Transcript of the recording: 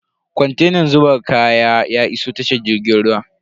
Kontenan zuba kaya ya iso tashar jirgin ruwan.